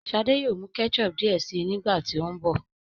shade yóò mú ketchup diẹ síi nígbàtí o nbọ